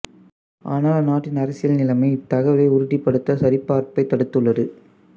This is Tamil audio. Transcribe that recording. ஆனால் அந்நாட்டின் அரசியல் நிலைமை இத்தகவலை உறுதிப்படுத்தச் சரிபார்ப்பைத் தடுத்துள்ளது